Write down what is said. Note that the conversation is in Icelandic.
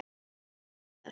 Við munum hittast síðar.